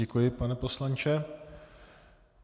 Děkuji, pane poslanče.